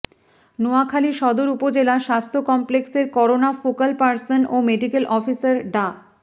নোয়াখালী সদর উপজেলা স্বাস্থ্য কমপ্লেক্সের করোনা ফোকাল পারসন ও মেডিকেল অফিসার ডা